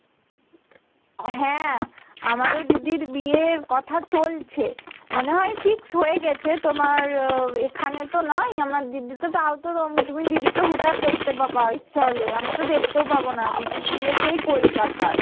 হ্যাঁ আমার ও দিদির বিয়ের কথা চলছে মনে হয় fixed হয়ে গেছে। তোমার এখানে তো নয় আমার দিদি তো তাও তো তুমি দিদিকে হুট্ হাট দেখতে পাবা ইচ্ছা হলে আমি তো দেখতে ও পাবনা দিদির বিয়ে সেই কলকাতায়।